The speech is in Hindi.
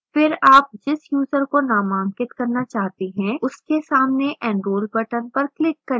फिर आप जिस यूजर को नामांकित करना चाहते हैं उसके सामने enrol button पर click करें